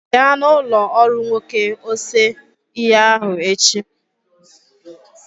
Bịa na ụlọ ọrụ nwoke ose ihe ahụ echi.